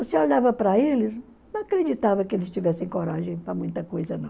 Você olhava para eles, não acreditava que eles tivessem coragem para muita coisa, não.